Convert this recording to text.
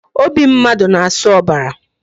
Obi mmadụ na-asụ ọbara